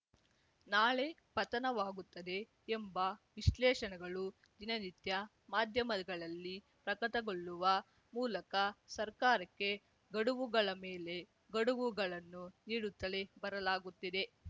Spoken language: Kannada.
ನಾಳೆ ಪತನವಾಗುತ್ತದೆ ಎಂಬ ವಿಶ್ಲೇಷಣೆಗಳು ದಿನನಿತ್ಯ ಮಾಧ್ಯಮಗಳಲ್ಲಿ ಪ್ರಕಟಗೊಳ್ಳುವ ಮೂಲಕ ಸರ್ಕಾರಕ್ಕೆ ಗಡುವುಗಳ ಮೇಲೆ ಗಡುವುಗಳನ್ನು ನೀಡುತ್ತಲೇ ಬರಲಾಗುತ್ತಿದೆ